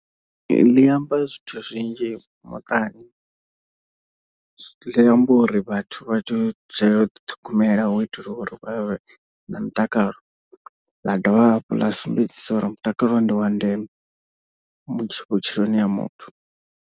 Ḽi amba zwithu zwinzhi muṱani, ḽi amba uri vhathu vha tshi dzulela u ḓiṱhogomela hu itela uri vhavhe na mutakalo. Ḽa dovha hafhu ḽa sumbedzise uri mutakalo ndi wandeme mutsho vhutshiloni ha muthu.